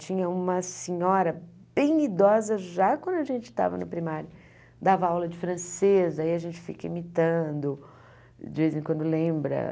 Tinha uma senhora bem idosa, já quando a gente estava no primário, dava aula de francês, aí a gente fica imitando, de vez em quando lembra.